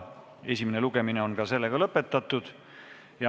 Esimene lugemine on lõppenud.